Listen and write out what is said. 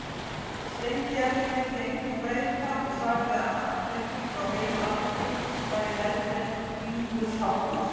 Steingerður vildi engu breyta og sagði að nafnabreyting á heilu landi væri helber vingulsháttur.